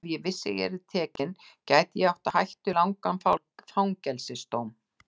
Ég vissi að ef ég yrði tekin gæti ég átt á hættu langan fangelsis dóm.